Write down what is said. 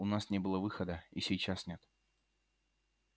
у нас не было выхода и сейчас нет